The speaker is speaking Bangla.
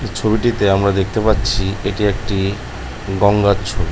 এই ছবিটি তে আমরা দেখতে পারছি এটি একটি গঙ্গার ছবি।